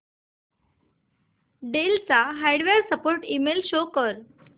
del चा hardware support email show कर